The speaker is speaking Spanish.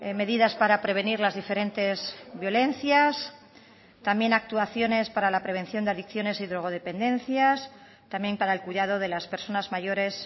medidas para prevenir las diferentes violencias también actuaciones para la prevención de adicciones y drogodependencias también para el cuidado de las personas mayores